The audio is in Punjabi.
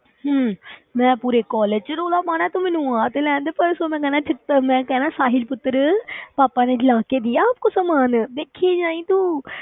ਹਮ ਮੈਂ ਪੂਰੇ college ਵਿੱਚ ਰੌਲਾ ਪਾਉਣਾ, ਤੂੰ ਮੈਨੂੰ ਆ ਤੇ ਲੈਣ ਦੇ ਪਰਸੋਂ ਮੈਂ ਕਹਿਣਾ ਜਿੱਦਾਂ ਮੈਂ ਕਿਹਾ ਨਾ ਸਾਹਿਲ ਪੁੱਤਰ ਪਾਪਾ ਨੇ ਲਾ ਕੇ ਦੀਆ ਆਪ ਕੋ ਸਮਾਨ ਦੇਖੀ ਜਾਈਂ ਤੂੰ,